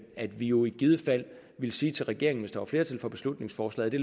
at vi jo i givet fald ville sige til regeringen hvis der er flertal for beslutningsforslaget at